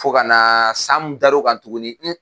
Fo ka na san dar'o kan tuguni